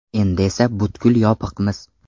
Endi esa butkul yopiqmiz.